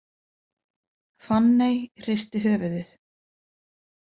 Fanney hristi höfuðið.